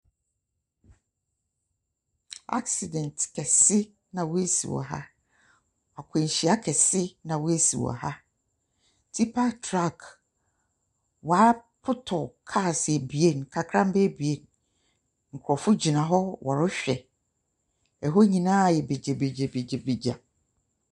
Asedɛnt kɛse na wasi wɔ ha. Akwanhyia kɛse na wasi wɔ ha. Tipa truck, wapotɔ abien; kakramba abien. Nkrɔfo gyina hɔ wɔrehwɛ. Ɛhɔ nyinaa ayɛ bagyabagyabagya.